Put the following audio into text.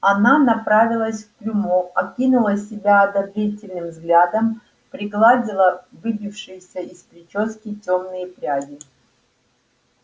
она направилась к трюмо окинула себя одобрительным взглядом пригладила выбившиеся из причёски тёмные пряди